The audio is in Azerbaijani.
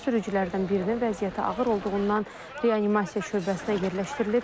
Sürücülərdən birinin vəziyyəti ağır olduğundan reanimasiya şöbəsinə yerləşdirilib.